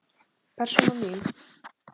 Persóna mín.